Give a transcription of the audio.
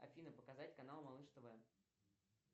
афина показать канал малыш тв